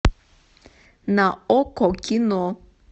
на окко кино